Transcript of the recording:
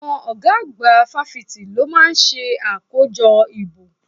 Àwọn ọ̀gá àgbà fásitì ló máa ń ṣe àkójọ ìbò